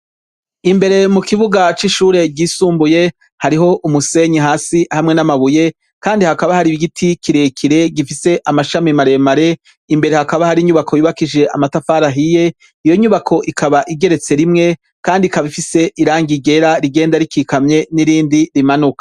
Imbere mu kibuga c'ishure ry'isumbuye harih' umusenyi hasi hamwe n'amabuye Kandi hakaba hari n'igiti kirerire gifise amashami maremare imbere hakaba har'inyubako yubakishije amatafari ahiye, iyo nyubako ikaba igeretse rimwe kandi ikaba ifise irangi ryera rigenda rikikamye n'irindi rimanuka.